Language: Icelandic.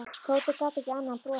Tóti gat ekki annað en brosað.